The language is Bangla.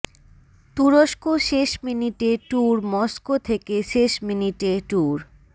তুরস্ক শেষ মিনিটে ট্যুর মস্কো থেকে শেষ মিনিটে ট্যুর